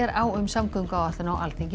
á um samgönguáætlun á Alþingi